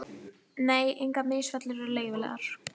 Nei, engar misfellur eru leyfilegar.